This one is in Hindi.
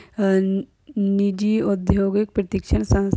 हन निजी औद्योगिक प्रशिक्षण संस --